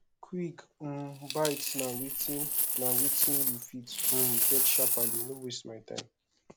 quick um bites na wetin na wetin you fit um get sharply no waste of time